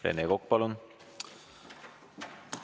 Rene Kokk, palun!